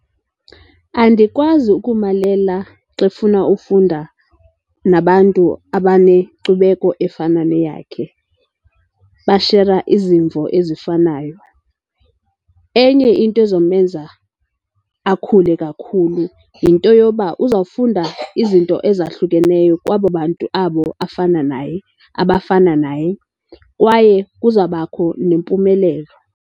Andikwazi ukumalela xa efuna ufunda nabantu abanenkcubeko efana neyakhe, bashera izimvo ezifanayo. Enye into ezomenza akhule kakhulu yinto yoba uzawufunda izinto ezahlukeneyo kwabo bantu abo afana naye, abafana naye, kwaye kuzawubakho nempumelelo.